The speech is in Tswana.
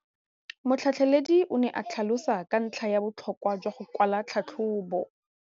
Motlhatlheledi o ne a tlhalosa ka ntlha ya botlhokwa jwa go kwala tlhatlhôbô.